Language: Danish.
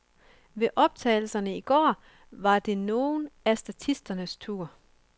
Ved optagelserne i går var det nogle af statisternes tur.